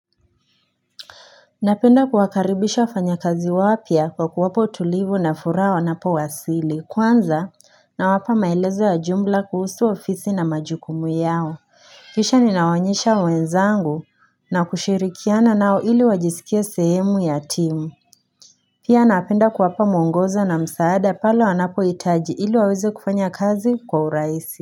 Napenda kuwakaribisha wafanya kazi wapya kwa kuwapa utulivu na furaha wanapo wasili kwanza nawapa maelezo ya jumla kuhusu ofisi na majukumu yao Kisha ni nawaonyesha wenzangu na kushirikiana nao ili wajisikie sehemu ya timu Pia napenda kuwapa mwongozo na msaada pale wanapohitaji ili waweze kufanya kazi kwa urahisi.